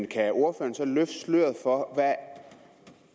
kan ordføreren løfte sløret for